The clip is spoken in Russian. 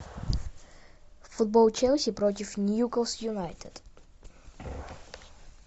футбол челси против ньюкасл юнайтед